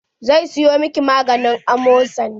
Zan siyo miki maganin amodari.